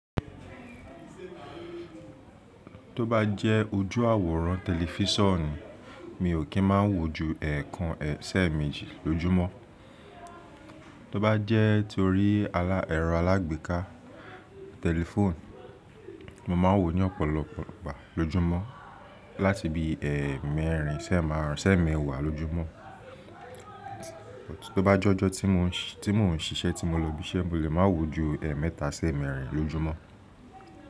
Tó bá jẹ́ ojú àwòrán tẹlifísàn ni, mi ò kì í máa ń wù ju ẹ̀ẹ̀kan, ṣe méjì lójúmọ́. Tó bá jẹ́ torí ẹ̀rọ alágbèéká tẹlifóònù, mo máa ń wo ní ọ̀pọ̀lọpọ̀lọ́pọ̀lọ́ lójoojúmọ́ láti bí ẹẹmẹrin sẹ́ ma wà lójúmọ́. Tó bá jọ́ tí mò ń ṣisẹ́ tí mo lọ ibiṣẹ́, mo lè máa wù ju ẹẹmẹta sẹ́ mẹrin lójúmọ́.